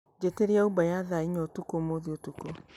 njĩtĩria Uber ya thaa inya ũtũkũ ũmũthĩ ũtũkũ